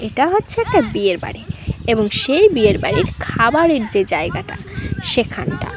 এটা হচ্ছে একটা বিয়ের বাড়ি এবং সেই বিয়ের বাড়ির খাবারের যে জায়গাটা সেখানটা।